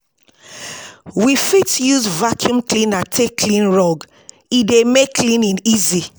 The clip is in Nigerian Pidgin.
We fit use vaccum cleaner take clean rug, e dey make cleaning easy